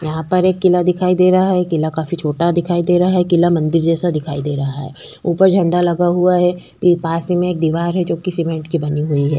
यहाँ पर एक किला दिखाई दे रहा है किला काफी छोटा दिखाई दे रहा है किला मंदिर जैसा दिखाई दे रहा है ऊपर झंडा लगा हुआ है पास ही में एक दीवार है जो की सीमेंट की बनी हुई है।